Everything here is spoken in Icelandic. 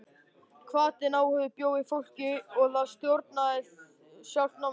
Hvatinn, áhuginn bjó í fólkinu og það stjórnaði sjálft náminu.